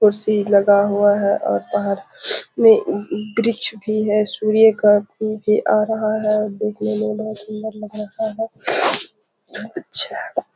कुर्सी लगा हुआ है और पार्क में वृक्ष भी है। सूर्य का किरण भी आ रहा है। देखने में बहुत सूंदर लग रहा है। अच्छा --